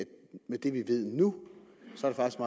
med det vi ved nu